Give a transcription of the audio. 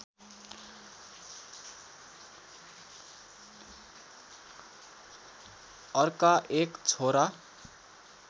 अर्का एक छोरा